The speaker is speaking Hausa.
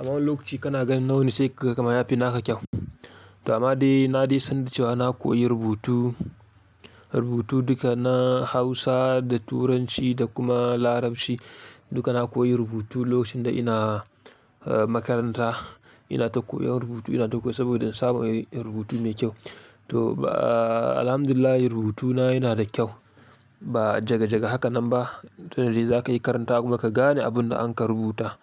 Amma lokaci kana ganin na wani sai ka ga kaman yafi naka kyau. To amma dai na dai san da cewa na koyi rubutu, rubutu duka na Hausa da Turanci da kuma Larabci duka na koyi rubutu lokacin da ina eh makaranta. Ina ta koyar rubutu ina ta koyi saboda in samu rubutu mai kyau. To ba-- alhamdulillah rubutuna yana da kyau. Ba jaga jaga haka nan ba, tunda dai za ka iyi karantawa kuma ka gane abun da an ka rubuta.